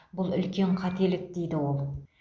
бұл үлкен қателік дейді ол